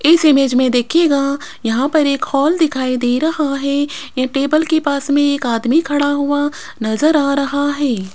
इस इमेज में देखिएगा यहां पर एक हाल दिखाई दे रहा है ये टेबल के पास में एक आदमी खड़ा हुआ नजर आ रहा है।